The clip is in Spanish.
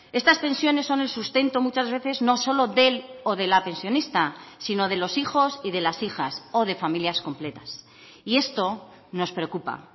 estas pensiones son el sustento muchas veces no solo del o de la pensionista sino de los hijos y de las hijas o de familias completas y esto nos preocupa